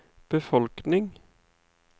befolkning